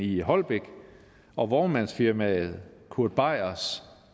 i holbæk og vognmandsfirmaet kurt beiers